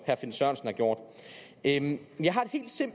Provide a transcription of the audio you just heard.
herre finn sørensen er en